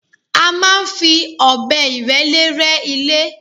A máa ń fi ọ̀bẹ ìrẹ́lé rẹ́ ilé